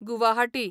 Guwahati